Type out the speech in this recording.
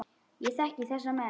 Ég þekki þessa menn.